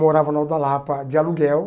Morava no Alto da Lapa de aluguel.